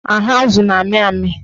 Ahụ azụ na-amị amị